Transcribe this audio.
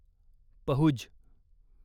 Pahuj